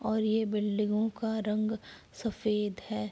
और ये बिल्डिंगो का रंग सफ़ेद है।